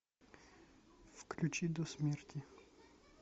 включи до смерти